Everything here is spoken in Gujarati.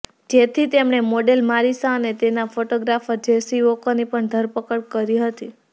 જેથી તેમણે મોડેલ મારિસા અને તેના ફોટોગ્રાફર જેસી વોકરની પણ ધરપકડ કરી હતી